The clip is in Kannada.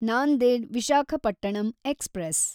ನಾಂದೆಡ್ ವಿಶಾಖಪಟ್ಟಣಂ ಎಕ್ಸ್‌ಪ್ರೆಸ್